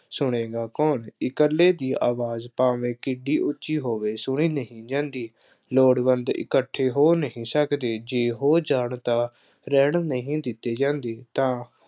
ਸੁਣੇਗਾ ਕੌਣ, ਇਕੱਲੇ ਦੀ ਆਵਾਜ਼ ਭਾਵੇਂ ਕਿੱਡੀ ਉੱਚੀ ਹੋਵੇ, ਸੁਣੀ ਨਹੀਂ ਜਾਦੀ। ਲੋੜਵੰਦ ਇਕੱਠੇ ਹੋ ਨਹੀਂ ਸਕਦੇ। ਜੇ ਹੋ ਜਾਣ ਤਾਂ ਰਹਿਣ ਨਹੀਂ ਦਿੱਤੇ ਜਾਂਦੇ। ਤਾਂ